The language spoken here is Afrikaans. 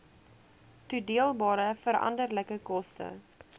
toedeelbare veranderlike koste